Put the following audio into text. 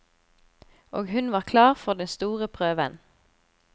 Og hun var klar for den store prøven.